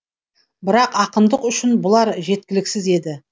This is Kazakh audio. бірақ ақындық үшін бұлар жеткіліксіз еді